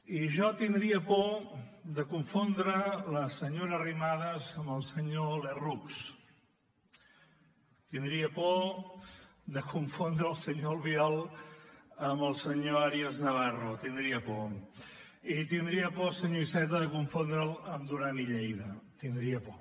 i jo tindria por de confondre la senyora arrimadas amb el senyor lerroux tindria por de confondre el senyor albiol amb el senyor arias navarro tindria por i tindria por senyor iceta de confondre’l amb duran i lleida tindria por